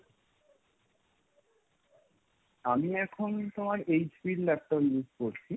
আমি এখন তোমার HP র laptop use করছি।